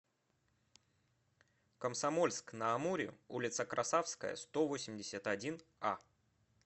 комсомольск на амуре улица красавская сто восемьдесят один а